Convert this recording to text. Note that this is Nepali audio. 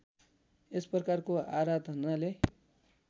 यसप्रकारको आराधनाले